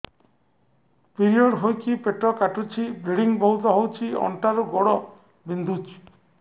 period ହୋଇକି ପେଟ କାଟୁଛି ବ୍ଲିଡ଼ିଙ୍ଗ ବହୁତ ହଉଚି ଅଣ୍ଟା ରୁ ଗୋଡ ବିନ୍ଧୁଛି